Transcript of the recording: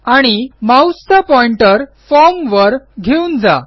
आणि माऊसचा pointer form वर घेऊन जा